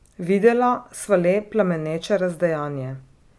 Videla sva le plameneče razdejanje.